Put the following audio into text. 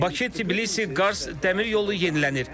Bakı-Tbilisi-Qars dəmir yolu yenilənir.